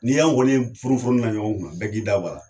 N'i y'anw kɔni ye funufunu na ɲɔgɔn kunna bɛɛ k'i da bɔ a la.